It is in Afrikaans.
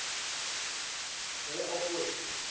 jy al ooit